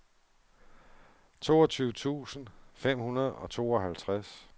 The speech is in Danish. toogtyve tusind fem hundrede og tooghalvtreds